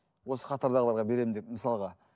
осы қатардағыларға беремін деп мысалға